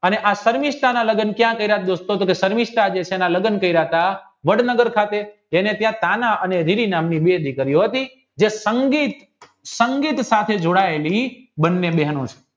અને આ સર્મિસ્થાના લગન ક્યાં કાર્ય દોસ્તો સર્મિસ્થાના કાર્ય હતા વડનગર સાથે જેને ત્યાં કાના અને રીવી નામની બે દીકરીઓ હતી જે સંગીત સાથે જોડાયેલી બંને બેનો છે